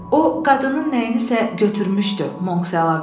“O qadının nəyinsə götürmüşdü”, Monks əlavə etdi.